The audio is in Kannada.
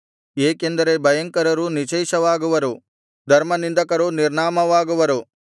ಏಕೆಂದರೆ ಭಯಂಕರರು ನಿಶ್ಶೇಷವಾಗುವರು ಧರ್ಮನಿಂದಕರು ನಿರ್ನಾಮವಾಗುವರು